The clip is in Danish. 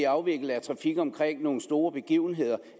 afvikling af trafik omkring nogle store begivenheder